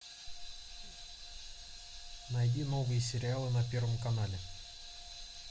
найди новые сериалы на первом канале